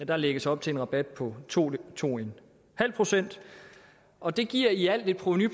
der lægges op til en rabat på to to en halv procent og det giver i alt et provenu